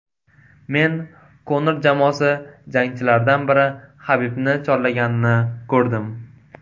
Men Konor jamoasi jangchilaridan biri Habibni chorlaganini ko‘rdim.